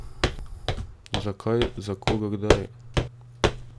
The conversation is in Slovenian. Zakaj, za koga kdaj?